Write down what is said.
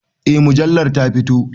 Eh mujallar ta fito.